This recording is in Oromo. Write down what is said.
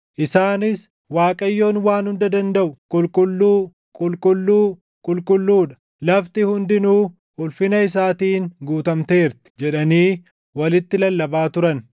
Isaanis: “ Waaqayyoon Waan Hunda Dandaʼu // qulqulluu, qulqulluu, qulqulluu dha; lafti hundinuu ulfina isaatiin guutamteerti” jedhanii walitti lallabaa turan.